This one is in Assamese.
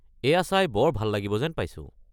এইয়া চাই বৰ ভাল লাগিব যেন পাইছো।